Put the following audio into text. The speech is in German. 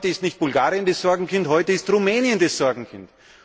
Heute ist nicht Bulgarien das Sorgenkind, heute ist Rumänien das Sorgenkind.